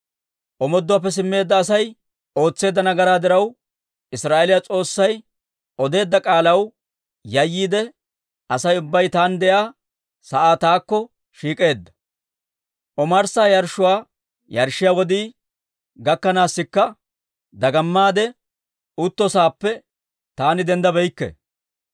Omooduwaappe simmeedda Asay ootseedda nagaraa diraw, Israa'eeliyaa S'oossay odeedda k'aalaw yayyiide Asay ubbay taani de'iyaa sa'aa taakko shiik'eedda. Omarssa yarshshuwaa yarshshiyaa wodii gakkanaasikka dagamaade utto sa'aappe taani denddabeykke.